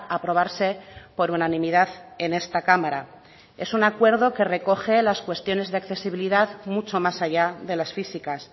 aprobarse por unanimidad en esta cámara es un acuerdo que recoge las cuestiones de accesibilidad mucho más allá de las físicas